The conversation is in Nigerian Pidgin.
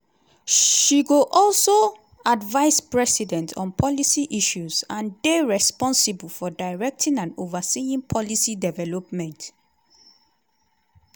she go also advise president on policy issues and dey responsible for directing and overseeing policy development.